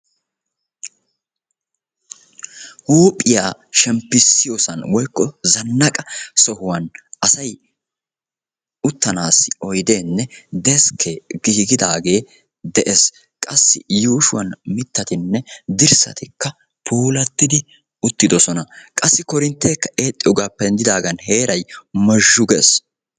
Huuphiya shemppisiyoosan woykko zanaqqa sohuwan asay uttanaassi oydeenne deskee giigidaage dees. Qassi yuushuwan mitattinne dirssatikka puulattidi uttidosona. Qassi korinteekka eexxiyoogaappe denddidaagan heeray mozhzhu gees.